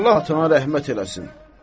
Allah atana rəhmət eləsin.